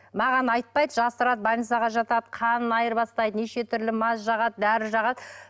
маған айтпайды жасырады больницаға жатады қанын айырбастайды неше түрлі мазь жағады дәрі жағады